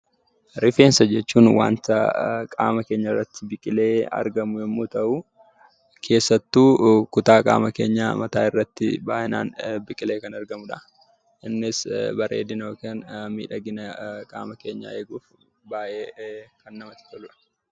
Rifeensa jechuun wanta qaama keenya irratti biqilee argamu yommuu ta'uu, keessattuu kutaa qaama keenyaa mataa irratti baay'inaan biqilee kan argamu dha. Innis bareedina yookiin miidhagina qaama keenyaa eeguuf baay'ee kan namatti tolu dha.